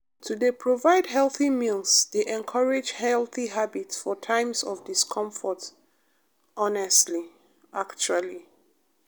to dey provide healthy meals dey encourage healthy habits for times of discomfort honestly actually